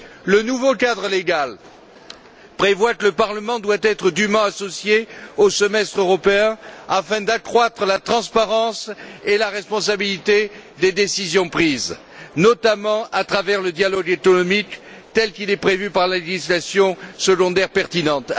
Le nouveau cadre légal prévoit que le Parlement doit être dûment associé au semestre européen afin d'accroître la transparence et la responsabilité des décisions prises, notamment à travers le dialogue économique tel qu'il est prévu par la législation secondaire pertinente.